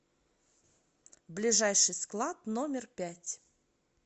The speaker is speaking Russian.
ближайший склад номер пять